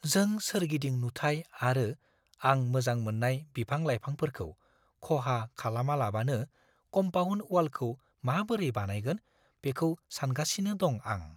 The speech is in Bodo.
जों सोरगिदिं नुथाइ आरो आं मोजां मोन्नाय बिफां-लाइफांफोरखौ खहा खालामालाबानो कम्पाउन्ड वालखौ माबोरै बानायगोन बेखौ सानगासिनो दं आं।